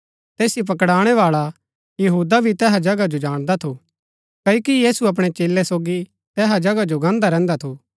तैसिओ पकडाणैवाळा यहूदा भी तैहा जगह जो जाणदा थू क्ओकि यीशु अपणै चेलै सोगी तैहा जगहा जो गान्दा रैहन्दा थू